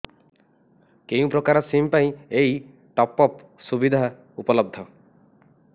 କେଉଁ ପ୍ରକାର ସିମ୍ ପାଇଁ ଏଇ ଟପ୍ଅପ୍ ସୁବିଧା ଉପଲବ୍ଧ